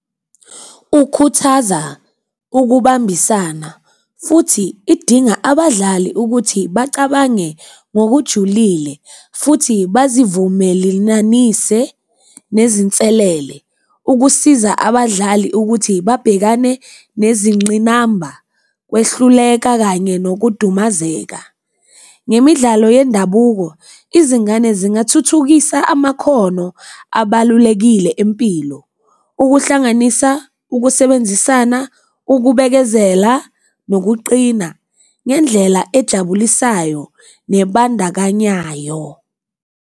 Ukhuthaza ukubambisana, futhi idinga abadlali ukuthi bacabange ngokujulile, futhi bazivumelelanise nezinselele ukusiza abadlali ukuthi babhekane nezingqinamba, ukwehluleka kanye nokudumazeka. Ngemidlalo yendabuko izingane zingathuthukisa amakhono abalulekile empilo okuhlanganisa ukusebenzisana, ukubekezela, nokuqina ngendlela ejabulisayo nebandakanyayo.